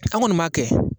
An kɔni m'a kɛ